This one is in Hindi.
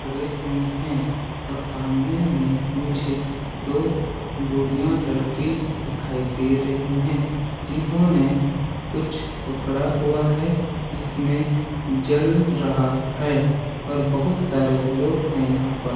खड़े हुए हैं और सामने में मुझे दो गोड़ियां लड़की दिखाई दे रही हैं जिन्होंने कुछ पकड़ा हुआ है जिसमें जल रहा है और बहुत सारे लोग हैं यहां पर।